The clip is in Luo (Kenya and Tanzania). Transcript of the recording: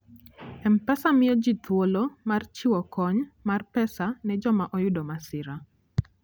M-Pesa miyo ji thuolo mar chiwo kony mar pesa ne joma oyudo masira.